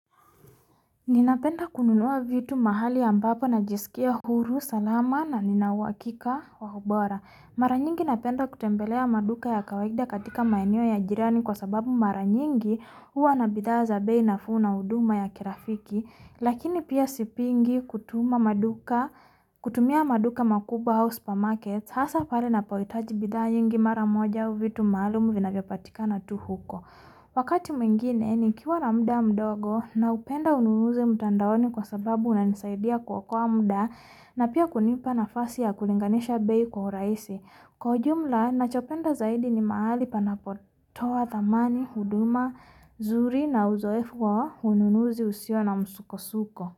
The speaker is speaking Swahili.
Ninapenda kununuwa vitu mahali ambapo na jiskia huru salama na ninawakika wahubora. Mara nyingi napenda kutembelea maduka ya kawaikida katika maenyo ya jirani kwa sababu mara nyingi hua na bidhaa za bei na huduma ya kirafiki. Lakini pia sipiingi kutumia maduka makubwa au supamarket. Hasa pale na poitaji bidhaa nyingi mara moja au vitu maalumu vina vyo patika na tu huko. Wakati mingine, nikiwala mda mdogo na upenda ununuuzi mtandaoni kwa sababu una nisaidia kuokowa mda na pia kunipa na fasi ya kulinganisha bei kwa uraisi. Kujumla, nachopenda zaidi ni mahali panapotoa thamani, huduma, nzuri na uzoefu kwa ununuuzi usio na msuko suko.